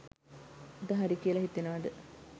අද හරි කියලා හිතෙනවාද?